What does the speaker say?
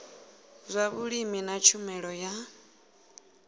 zwa vhulimi na tshumelo ya